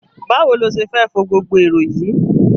Báwo lo ṣe fẹ́ fo gbogbo erò yìí??